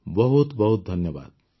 ବହୁତ ବହୁତ ଧନ୍ୟବାଦ